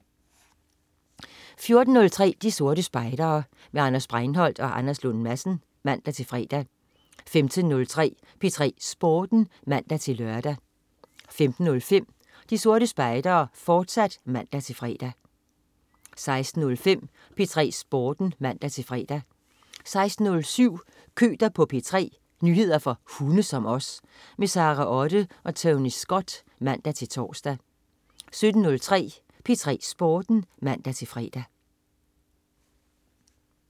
14.03 De Sorte Spejdere. Anders Breinholt og Anders Lund Madsen (man-fre) 15.03 P3 Sporten (man-lør) 15.05 De Sorte Spejdere, fortsat (man-fre) 16.05 P3 Sporten (man-fre) 16.07 Køter på P3. Nyheder for hunde som os. Sara Otte og Tony Scott (man-tors) 17.03 P3 Sporten (man-fre)